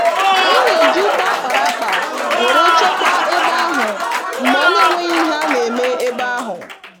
Anyị na-eji ute akpara akpa wéré chekwa ebe ahụ mgbe ọ nenweghi ihe a némè' ebe ahụ